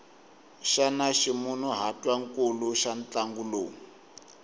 xana ximunhuhatwankulu xa ntlangu lowu